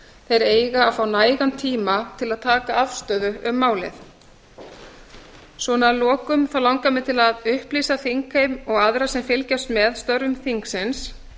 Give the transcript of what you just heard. þeir eiga að fá nægan tíma til að taka afstöðu um málið að lokum langar mig til að upplýsa þingheim og aðra sem fylgjast með störfum þingsins